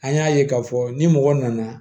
An y'a ye k'a fɔ ni mɔgɔ nana